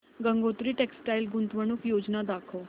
Gangotri textile गुंतवणूक योजना दाखव